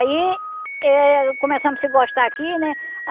Aí eh começamos a se gostar aqui, né?